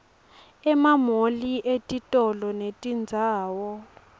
emamoli etitolo netindzawo